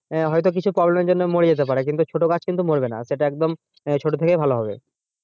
আহ হয় তো কিছু problem এর জন্য মরে যেতে পারে ছোটো গাছ কিন্তু মরবে না এটা একদম আহ ছোটো থেকেই ভালো হবে।